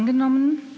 angenommen